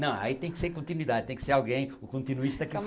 Não, aí tem que ser continuidade, tem que ser alguém, o continuista que.